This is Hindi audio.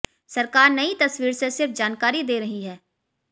सरकार नई तस्वीर से सिर्फ जानकारी दे रही है